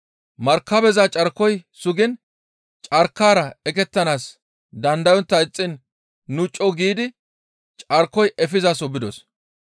Markabeza carkoy sugiin carkaara eqettanaas dandayontta ixxiin nu co7u giidi carkoy efizaso bidos.